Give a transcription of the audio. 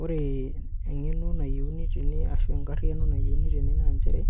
Ore eng'eno nayieuni tene ashu enkarriyiano nayieuni tene naa njere,